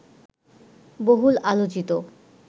বহুল আলোচিত